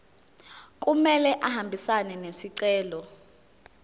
kumele ahambisane nesicelo